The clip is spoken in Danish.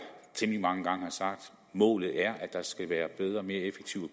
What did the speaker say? temmelig mange gange sagde at målet er at der skal være bedre mere effektiv og